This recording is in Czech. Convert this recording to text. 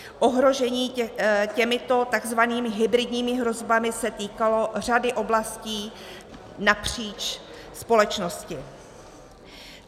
Ohrožení těmito takzvanými hybridními hrozbami se týkalo řady oblastí napříč společnosti.